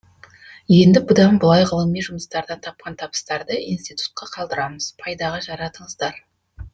енді бұдан былай ғылыми жұмыстардан тапқан табыстарды институтқа қалдырамыз пайдаға жаратыңыздар